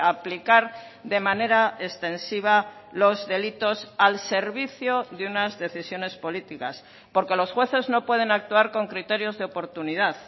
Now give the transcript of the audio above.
aplicar de manera extensiva los delitos al servicio de unas decisiones políticas porque los jueces no pueden actuar con criterios de oportunidad